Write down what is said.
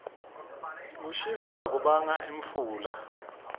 kushisa kubanga imfula